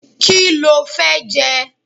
Kí lo fẹ́ jẹ?